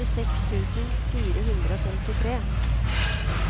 førtiseks tusen fire hundre og femtitre